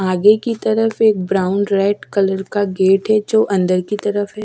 आगे की तरफ एक ब्राउन रेड कलर का गेट है जो अंदर की तरफ है।